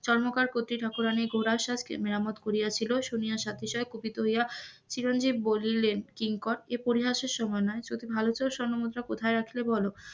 স্বর্ণকার কত্রী ঠাকুরানির মেরামত করিয়াছিল শুনিয়া সাথে সাথ কুপিত হইয়া চিরঞ্জীব বললেন কিঙ্কর এ পরিহাসের সময় নয় যদি ভালো চাও তাহলে স্বর্ণ মুদ্রা কোথায় আছে বল,